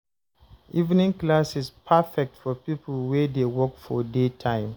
Evening classes perfect for people wey dey work for daytime.